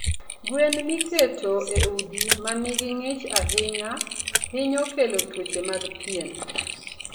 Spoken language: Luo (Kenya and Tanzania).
Gwen miketo e udi ma nigi ng'ich ahinya, hinyo kelo tuoche mag pien.